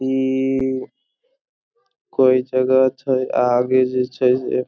इ कोई जगह छै आगे जे छै से --